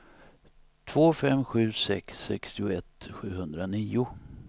två fem sju sex sextioett sjuhundranio